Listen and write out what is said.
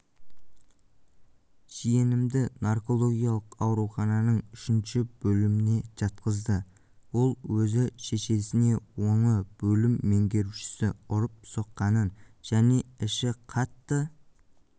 жиенімді наркологиялық аурухананың үшінші бөліміне жатқызды ол өзі шешесіне оны бөлім меңгерушісі ұрып-соққанын және іші қатты